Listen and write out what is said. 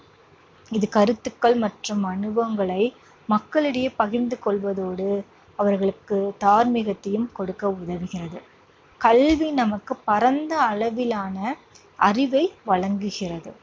இது கருத்துக்கள் மற்றும் அனுபவங்களை மக்களிடையே பகிர்ந்து கொள்வதோடு அவர்களுக்குத் தார்மீகத்தையும் கொடுக்க உதவுகிறது. கல்வி நமக்குப் பரந்த அளவிலான அறிவை வழங்குகிறது.